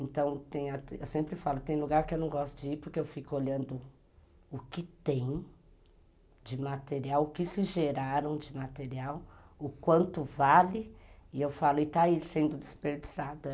Então, eu sempre falo, tem lugar que eu não gosto de ir, porque eu fico olhando o que tem de material, o que se geraram de material, o quanto vale, e eu falo, e está aí sendo desperdiçado.